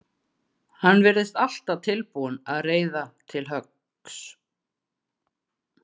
Hann virðist alltaf tilbúinn að reiða til höggs.